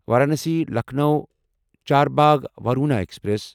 Varanasi Lucknow Charbagh Varuna express